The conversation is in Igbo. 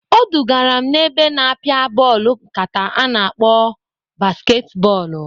Odugara m n'ebe na-apịa bọọlụ nkata a na-akpọ basket bọọlụ.